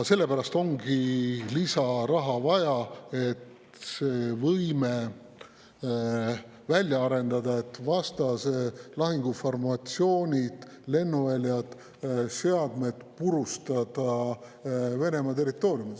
Sellepärast ongi lisaraha vaja, et see võime välja arendada, et vastase lahinguformatsioonid, lennuväljad ja seadmed purustada Venemaa territooriumil.